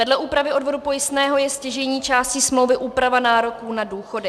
Vedle úpravy odvodu pojistného je stěžejní částí smlouvy úprava nároků na důchody.